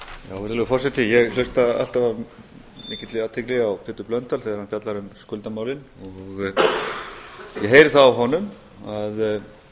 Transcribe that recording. virðulegi forseti ég hlusta alltaf af mikilli athygli á háttvirtan þingmann pétur blöndal þegar hann fjallar um skuldamálin og ég heyri það á honum